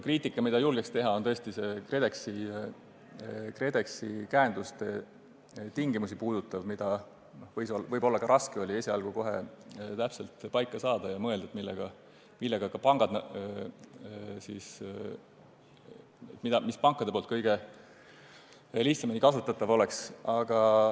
Kriitikat julgeks teha võib-olla KredExi käenduste tingimusi puudutava kohta, neid võis esialgu olla raske kohe täpselt paika saada ja mõelda, mis ka pankade jaoks kõige lihtsamini kasutatav oleks.